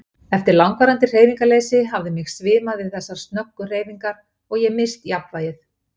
Eftir langvarandi hreyfingarleysi hafði mig svimað við þessar snöggu hreyfingar og ég misst jafnvægið.